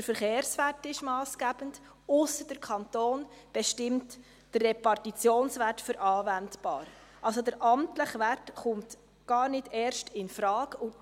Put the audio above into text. Der Verkehrswert ist massgebend, ausser der Kanton bestimme den Repartitionswert als anwendbar, sodass der amtliche Wert gar nicht erst infrage kommt.